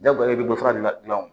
Jagoya i bɛ dɔ fara ne ka gilanw